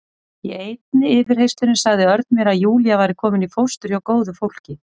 Í einni yfirheyrslunni sagði Örn mér að Júlía væri komin í fóstur hjá góðu fólki.